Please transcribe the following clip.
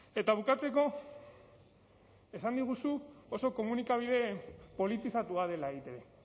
eta bukatzeko esan diguzu oso komunikabide politizatua dela eitb